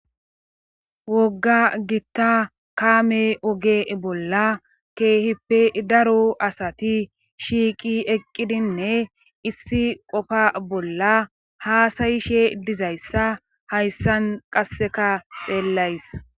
wogga gitta kaame oge bolla keehippe daru asati shiiqi eqqidinne issi qofa bolla haasayishe dizayssa hayssan qasseka xeellays